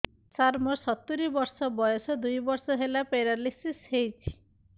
ସାର ମୋର ସତୂରୀ ବର୍ଷ ବୟସ ଦୁଇ ବର୍ଷ ହେଲା ପେରାଲିଶିଶ ହେଇଚି